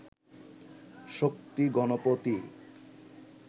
Shakti Ganapati